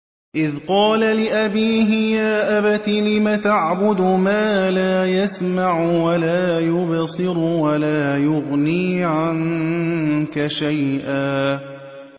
إِذْ قَالَ لِأَبِيهِ يَا أَبَتِ لِمَ تَعْبُدُ مَا لَا يَسْمَعُ وَلَا يُبْصِرُ وَلَا يُغْنِي عَنكَ شَيْئًا